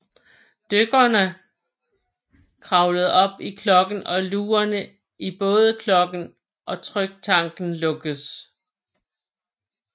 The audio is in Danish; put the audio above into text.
Dykkeren kravler op i klokken og lugerne i både klokken og tryktanken lukkes